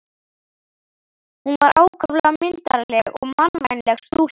Hún var ákaflega myndarleg og mannvænleg stúlka.